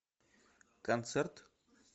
концерт